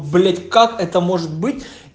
блять как это может быть